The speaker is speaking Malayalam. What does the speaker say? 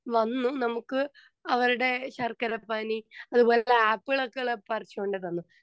സ്പീക്കർ 2 വന്ന് നമ്മുക്ക് അവരുടെ ശർക്കര പാനി അതുപോലെ ആപ്പിളുകൾകെ പറിച്ചുകൊണ്ട് തന്നു.